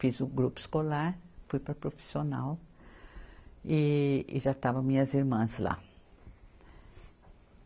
Fiz o grupo escolar, fui para a profissional e, e já estavam minhas irmãs lá.